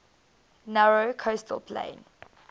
narrow coastal plain